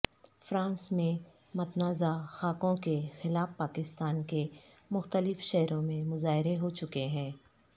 France میں متنازع خاکوں کے خلاف پاکستان کے مختلف شہروں میں مظاہرے ہوچکے ہیں